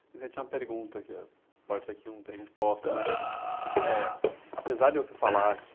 A gente tem uma pergunta, que pode ser que não tenha resposta, mas eh apesar de você falar que